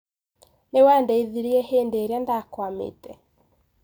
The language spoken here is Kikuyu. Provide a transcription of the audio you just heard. Nĩwandeithirie hĩndĩrĩa nda kwamĩte.